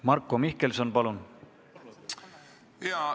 Marko Mihkelson, palun!